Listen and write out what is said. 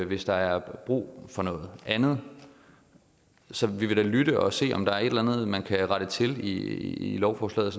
hvis der er brug for noget andet så vi vil da lytte og se om der er et eller andet man kan rette til i lovforslaget